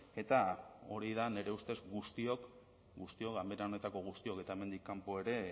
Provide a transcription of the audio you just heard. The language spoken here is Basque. eta hori da nire ustez guztiok guztiok ganbera honetako guztiok eta hemendik kanpo ere